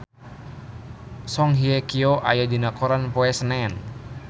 Song Hye Kyo aya dina koran poe Senen